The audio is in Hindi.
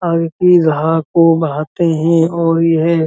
को बहाते हैं और यह --